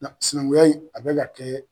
Nga sinankunya in a bɛ ka kɛ